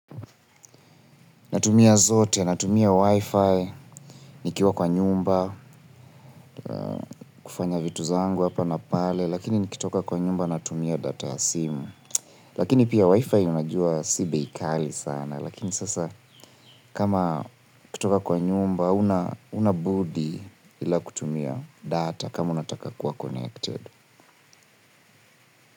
Natumia zote, natumia Wi-Fi, nikiwa kwa nyumba, kufanya vitu zangu hapa na pale, lakini nikitoka kwa nyumba natumia data ya simu. Lakini pia Wi-Fi unajua si bei kali sana, lakini sasa kama ukitoka kwa nyumba, hauna budi ila kutumia data kama unataka kuwa connected.